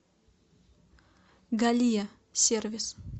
галия сервис